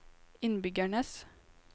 innbyggernes